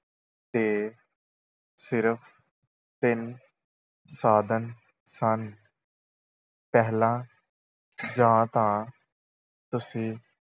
ਦੇ ਸਿਰਫ ਤਿੰਨ ਸਾਧਨ ਸਨ ਪਹਿਲਾਂ ਜਾਂ ਤਾਂ ਤੁਸੀਂ